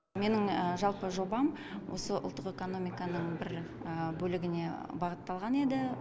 менің жалпы жобам осы ұлттық экономиканың бір бөлігіне бағытталған еді